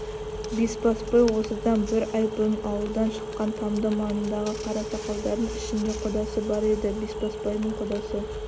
бесбасбай осыдан бір ай бұрын ауылдан шыққан тамды маңындағы қарасақалдың ішінде құдасы бар еді бесбасбайдың құдасы